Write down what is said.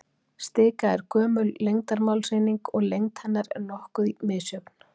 stika er gömul lengdarmálseining og lengd hennar er nokkuð misjöfn